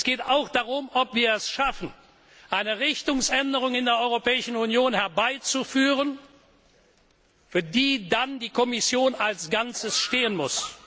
Es geht auch darum, ob wir es schaffen, eine Richtungsänderung in der Europäischen Union herbeizuführen, für die dann die Kommission als Ganzes stehen muss.